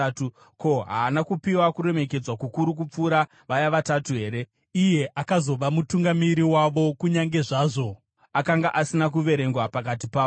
Ko, haana kupiwa kuremekedzwa kukuru kupfuura vaya Vatatu here? Iye akazova mutungamiri wavo, kunyange zvazvo akanga asina kuverengwa pakati pavo.